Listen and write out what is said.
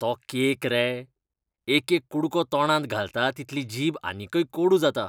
तो केक रे? एकेक कुडको तोंडांत घालता तितली जीब आनीकय कोडू जाता.